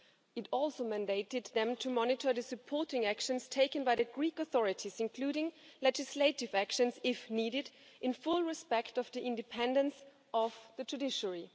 It also mandated them to monitor the supporting actions taken by the Greek authorities, including legislative actions, if needed, in full respect of the independence of the judiciary.